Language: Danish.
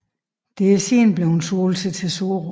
Det er siden bleve solgt til Tesoro